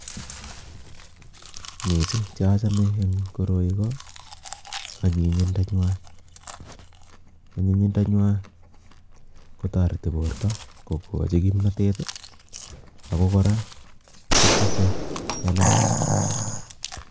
Missing che achame en koroi ko anyinyindo nywa. Anyinyindo nywa kotoreti borto kokochi kimnatet, ago kora kotise melel